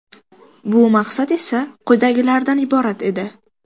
Bu maqsad esa quyidagilardan iborat edi.